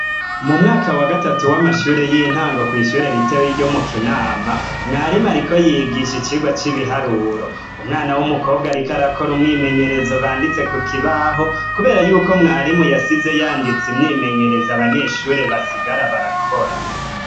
Mumwaka wagatatu wamashure yintango kw'ishure ritoyi ryo mu kinama . Mwarimu ariko yigisha icirwa cibiharuro umwana wumukobwa ariko arakora umwimenyerezo banditse kukibaho kubera Yuko mwarimu yasize yanditse imyimyerezo abanyeshure basigara barakora.